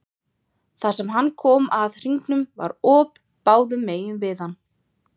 Þar sem hann kom að hringnum var op báðum megin við hann.